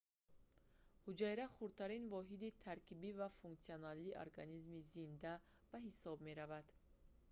ҳуҷайра хурдтарин воҳиди таркибӣ ва функсионалии организми зинда мавҷудот ба ҳисоб меравад